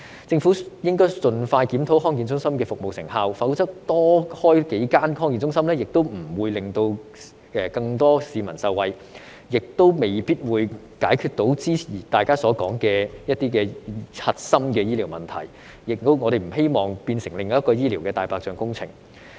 政府應該盡快檢討康健中心的服務成效，否則多開設幾間康健中心也不會令更多市民受惠，也未必能解決大家所說的核心的醫療問題，我們亦不希望變成另一項醫療"大白象"工程。